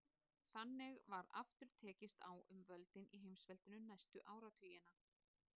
Þannig var aftur tekist á um völdin í heimsveldinu næstu áratugina.